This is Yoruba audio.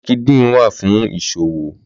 Lìnkídìn wá fún iṣówó